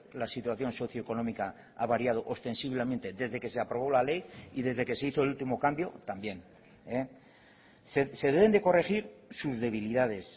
la situación socioeconómica ha variado ostensiblemente desde que se aprobó la ley y desde que se hizo el último cambio también se deben de corregir sus debilidades